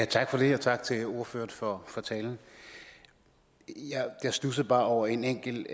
tak for det og tak til ordføreren for talen jeg studsede bare over en enkelt